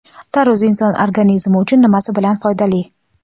Tarvuz inson organizmi uchun nimasi bilan foydali?.